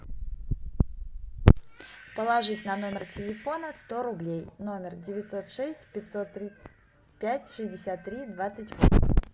положить на номер телефона сто рублей номер девятьсот шесть пятьсот тридцать пять шестьдесят три двадцать восемь